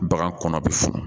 Bagan kɔnɔ bi funu